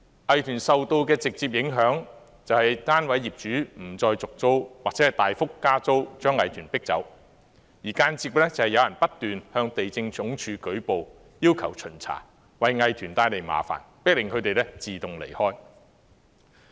藝團受到的直接影響就是單位業主不再續租或大幅加租，將藝團迫走；而間接的是有人不斷向地政總署舉報，要求巡查，為藝團帶來麻煩，迫使他們自動離開。